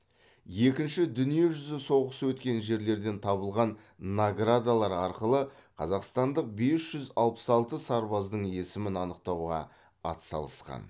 екінші дүниежүзі соғысы өткен жерлерден табылған наградалар арқылы қазақстандық бес жүз алпыс алты сарбаздың есімін анықтауға атсалысқан